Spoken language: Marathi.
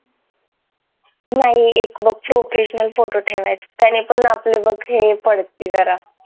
नाही एक फोटो ठेवायचा त्याने पण आपले हे पडती जरा